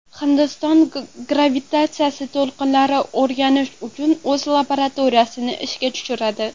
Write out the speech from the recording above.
Hindiston gravitatsiyali to‘lqinlarni o‘rganish uchun o‘z laboratoriyasini ishga tushiradi.